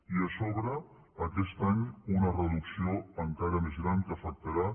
i a sobre aquest any una reducció encara més gran que afectarà